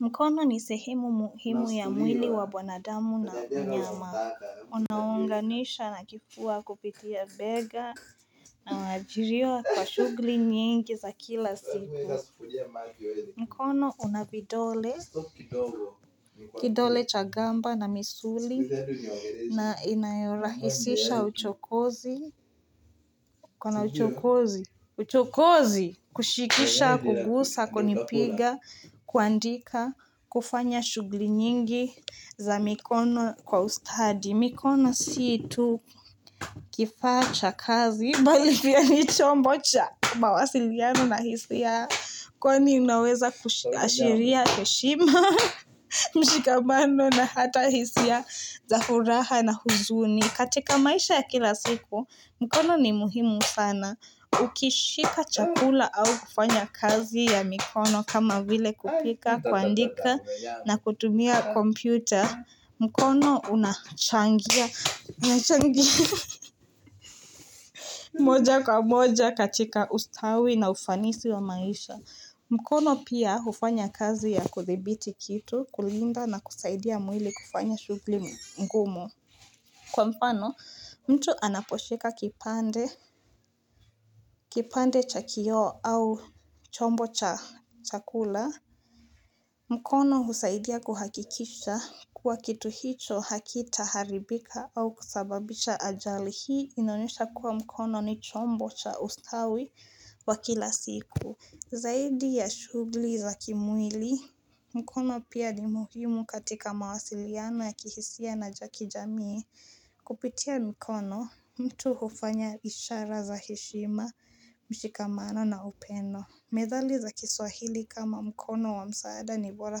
Mkono ni sehimu muhimu ya mwili wa mwanadamu na mnyama, unaounganisha na kifua kupitia bega na majirio kwa shughuli nyingi za kila siku. Mkono una vidole, kidole cha gamba na misuli na inayorahisisha uchokozi, uko na uchokozi, uchokozi, kushikisha, kugusa, kunipiga, kuandika, kufanya shughuli nyingi za mikono kwa ustadi. Mikono si tu kifaa cha kazi, bali pia ni combo cha mawasiliano na hisia Kwani unaweza kuashiria heshima mshikamano na hata hisia za furaha na huzuni katika maisha ya kila siku, mkono ni muhimu sana Ukishika chakula au kufanya kazi ya mikono kama vile kupika, kuandika na kutumia kompyuta mkono unachangia moja kwa moja katika ustawi na ufanisi wa maisha mkono pia hufanya kazi ya kuthibiti kitu kulinda na kusaidia mwili kufanya shughuli mgumu Kwa mfano mtu anaposhika kipande, kipande cha kioo au chombo cha chakula mkono husaidia kuhakikisha kuwa kitu hicho hakita haribika au kusababisha ajali hii inaonyesha kuwa mkono ni chombo cha ustawi wa kila siku Zaidi ya shughuli za kimwili mkono pia ni muhimu katika mawasiliano ya kihisia na cha kijamii. Kupitia mkono, mtu hufanya ishara za heshima mshikamano na upendo. Methali za kiswahili kama mkono wa msaada ni bora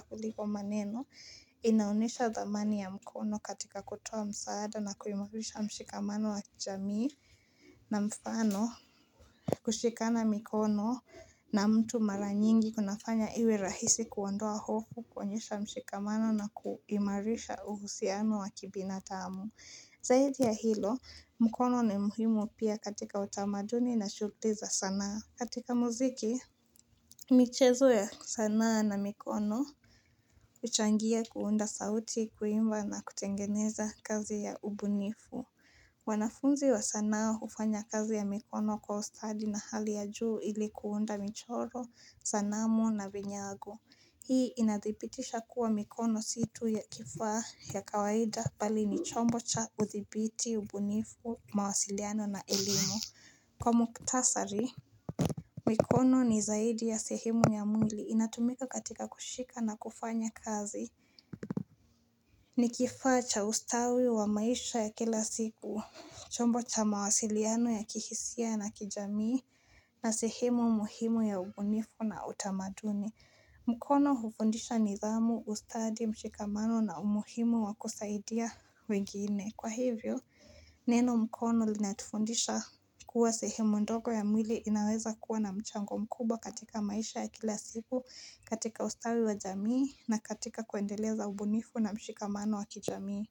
kuliko maneno, inaonyesha dhamani ya mkono katika kutoa msaada na kuimarisha mshikamano wa jamii na mfano, kushikana mikono na mtu mara nyingi kunafanya iwe rahisi kuondoa hofu, kuonyesha mshikamano na kuimarisha uhusiano wa kibinadamu. Zaidi ya hilo, mkono ni muhimu pia katika utamaduni na shughuli za sana. Katika muziki, michezo ya sanaa na mikono, huchangia kuunda sauti, kuimba na kutengeneza kazi ya ubunifu. Wanafunzi wa sanaa hufanya kazi ya mikono kwa ustadi na hali ya juu ili kuunda michoro, sanamu na vinyago. Hii inadhibitisha kuwa mikono si tu ya kifaa ya kawaida bali ni chombo cha udhibiti, ubunifu, mawasiliano na elimu. Kwa mukhtasari, mikono ni zaidi ya sehemu ya mwili. Inatumika katika kushika na kufanya kazi. Ni kifaa cha ustawi wa maisha ya kila siku, chombo cha mawasiliano ya kihisia na kijamii, na sehemu muhimu ya ubunifu na utamaduni. Mkono hufundisha nidhamu, ustadi, mshikamano na umuhimu wa kusaidia wengine. Kwa hivyo, neno mkono linatufundisha kuwa sehemu ndogo ya mwili inaweza kuwa na mchango mkubwa katika maisha ya kila siku, katika ustawi wa jamii na katika kuendeleza ubunifu na mshikamano wa kijamii.